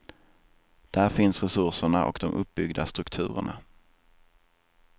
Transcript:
Där finns resurserna och de uppbyggda strukturerna.